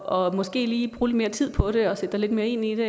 og måske lige bruge lidt mere tid på det og sætte dig lidt mere ind i det